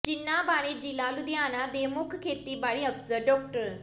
ਜਿਨ੍ਹਾਂ ਬਾਰੇ ਜ਼ਿਲ੍ਹਾ ਲੁਧਿਆਣਾ ਦੇ ਮੁੱਖ ਖੇਤੀਬਾੜੀ ਅਫ਼ਸਰ ਡਾ